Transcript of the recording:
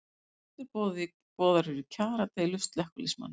Fundur boðaður í kjaradeilu slökkviliðsmanna